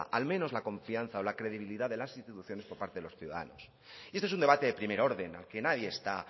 al menos la confianza o la credibilidad de las instituciones por parte de los ciudadanos y esto es un debate de primer orden aquí nadie está a